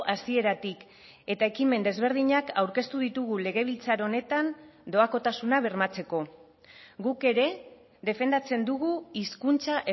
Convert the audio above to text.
hasieratik eta ekimen desberdinak aurkeztu ditugu legebiltzar honetan doakotasuna bermatzeko guk ere defendatzen dugu hizkuntza